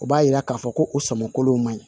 O b'a yira k'a fɔ ko u sɔmin kolo man ɲi